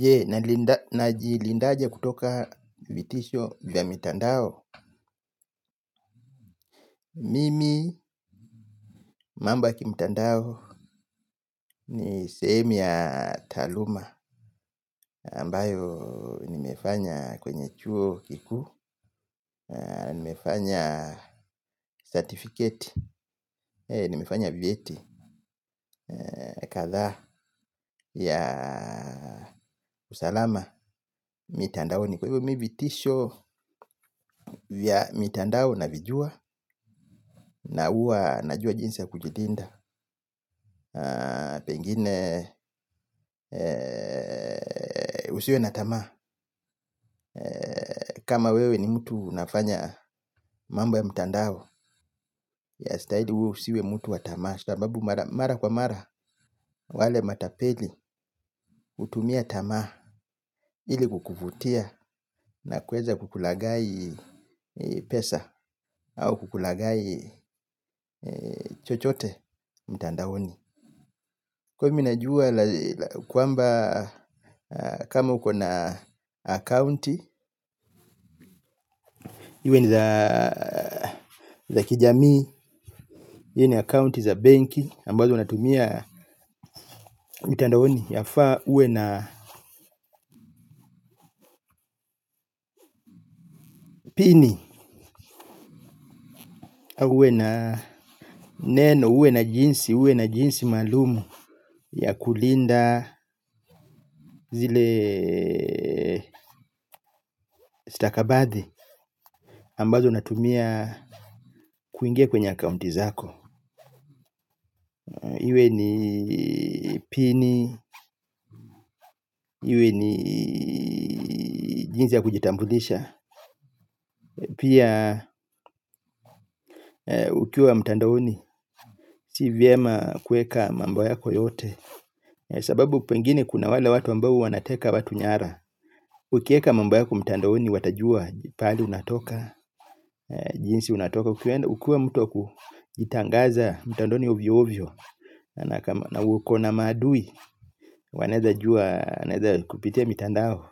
Je najilinda aje kutoka vitisho vya mitandao. Mimi mambo ya kimtandao ni sehemu ya taaluma ambayo nimefanya kwenye chuo kikuu nimefanya certificate nimefanya vyeti kadhaa ya usalama mitandaoni kwa hivyo mimi vitisho vya mitandao navijua na huwa najua jinsi ya kujilinda pengine usiwe na tamaa kama wewe ni mtu unafanya mambo ya mtandao yastahili wewe usiwe mtu wa tamaa sababu mara kwa mara wale matapeli hutumia tamaa ili kukuvutia na kuweza kukulaghai pesa au kukulaghai chochote mtandaoni kwa hivyo mimi najua kwamba kama uko na akaunti iwe ni za kijamii, iwe ni akaunti za benki ambazo unatumia mitandaoni yafaa uwe na pini, au uwe na neno, uwe na jinsi, uwe na jinsi maalumu ya kulinda zile stakabathi ambazo unatumia kuingia kwenye akaunti zako. Iwe ni pini, iwe ni jinsi ya kujitambulisha. Pia ukiwa mtandaoni, si vyema kuweka mambo yako yote. Sababu pengine kuna wale watu ambao wanateka watu nyara. Ukiweka mambo yako mtandaoni, watajua pahali unatoka. Jinsi unatoka, ukiwa mtu wa kujitangaza mtandaoni ovyo ovyo na uko na maadui, wanaweza jua wanaweza kupitia mtandao.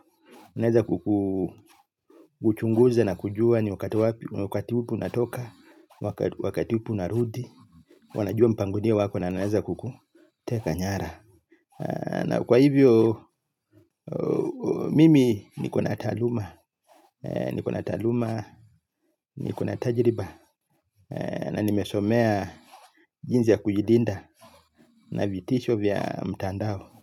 Wanaweza kukuchunguza na kujua ni wakati upi unatoka, wakati upi unarudi. Wanajua mpangilio wako na wanaweza kukuteka nyara. Na kwa hivyo, mimi niko na taaluma, niko na taaluma, niko na tajiriba. Na nimesomea jinsi ya kujilinda na vitisho vya mtandao.